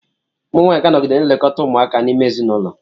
Ụmụ nwaanyị ga-anọgide na-elekọta ụmụaka n'ime ezinụlọ.